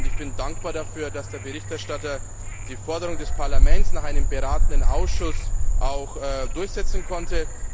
Ich bin dankbar dafür, dass der Berichterstatter die Forderung des Parlaments nach einem beratenden Ausschuss durchsetzen konnte.